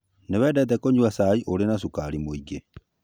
Nĩ wendete kũnyua cai ũrĩ na cukari mũingĩ